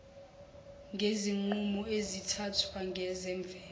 ngezinqumo ezithathwayo ngezemvelo